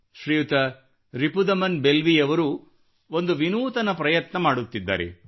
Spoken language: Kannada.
ಶ್ರೀಯುತ ರಿಪುದಮನ್ ಬೆಲ್ವಿಯವರು ಒಂದು ವಿನೂತನ ಪ್ರಯತ್ನ ಮಾಡುತ್ತಿದ್ದಾರೆ